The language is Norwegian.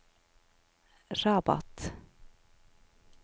Rabat